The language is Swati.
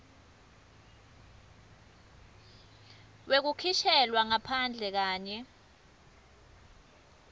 wekukhishelwa ngaphandle kanye